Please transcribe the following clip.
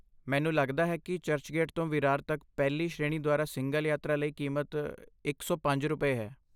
ਮੈਨੂੰ ਲੱਗਦਾ ਹੈ ਕੀ ਚਰਚਗੇਟ ਤੋਂ ਵਿਰਾਰ ਤੱਕ ਪਹਿਲੀ ਸ਼੍ਰੇਣੀ ਦੁਆਰਾ ਸਿੰਗਲ ਯਾਤਰਾ ਲਈ ਕੀਮਤ ਇਕ ਸੌ ਪੰਜ ਰੁਪਏ, ਹੈ